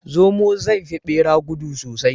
Zomo zai fi bera gudu sosai